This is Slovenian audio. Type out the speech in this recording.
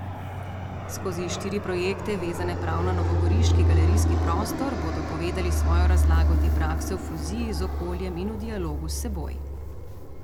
Skozi štiri projekte, vezane prav na novogoriški galerijski prostor, bodo povedali svojo razlago te prakse v fuziji z okoljem in v dialogu s seboj.